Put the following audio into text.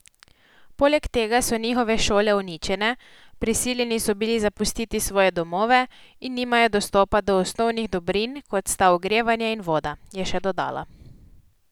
Poleg tega so njihove šole uničene, prisiljeni so bili zapustiti svoje domove in nimajo dostopa do osnovnih dobrin, kot sta ogrevanje in voda, je še dodala.